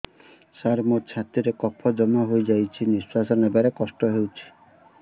ସାର ମୋର ଛାତି ରେ କଫ ଜମା ହେଇଯାଇଛି ନିଶ୍ୱାସ ନେବାରେ କଷ୍ଟ ହଉଛି